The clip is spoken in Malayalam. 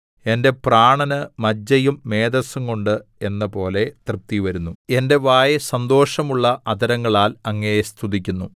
എന്റെ പ്രാണന് മജ്ജയും മേദസ്സുംകൊണ്ട് എന്നപോലെ തൃപ്തിവരുന്നു എന്റെ വായ് സന്തോഷമുള്ള അധരങ്ങളാൽ അങ്ങയെ സ്തുതിക്കുന്നു